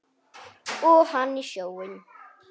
Og hann í sjóinn.